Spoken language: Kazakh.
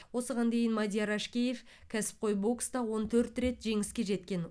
осыған дейін мадияр әшкеев кәсіпқой бокста он төрт рет жеңіске жеткен